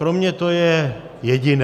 Pro mě to je jediné.